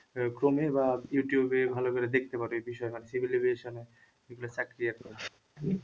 আহ chrome বা Youtube এ ভালো করে দেখতে পারো এই বিষয়টা